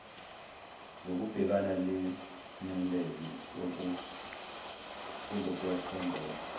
zokubhekana nengcindezi kunokwethembela